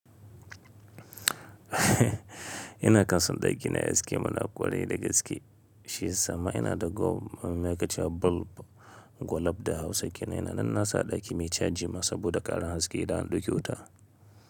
Ina kan son ɗaki na yayi haske mana ƙwarai da gaske. Shi ya sama ina da gwal, me ke ce bulb? Gwulab da Hausa kenan. Nan na sa ɗaki mai caji masu saboda ƙaran haske idan an ɗauke wuta.